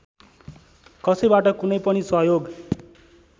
कसैबाट कुनै पनि सहयोग